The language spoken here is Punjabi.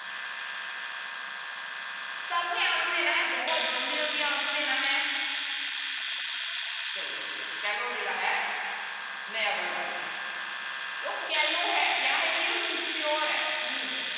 ਸਭ ਨੇ answer ਦੇਣਾ ਹੈ ਬਹੁਤ ਜ਼ਲਦੀ ਜ਼ਲਦੀ answer ਦੇਣਾ ਹੈ ਚਲੋ ਵਧੀਆ callow ਜਿਹੜਾ ਹੈ ਨਇਆਂ word ਆ ਗਿਆ ਤਾਂ callow ਹੈ ਕਿਆ ਹੈ ਵੀ ਉਹ immature ਹੈ ਹਮ